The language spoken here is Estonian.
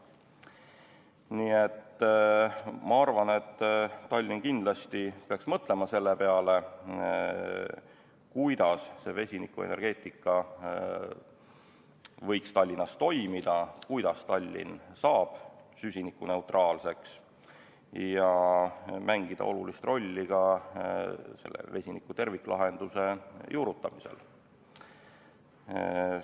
Nii et ma arvan, et Tallinn peaks kindlasti mõtlema selle peale, kuidas vesinikuenergeetika võiks Tallinnas toimida, kuidas Tallinn saaks süsinikuneutraalseks ja võiks mängida olulist rolli ka vesiniku terviklahenduse juurutamisel.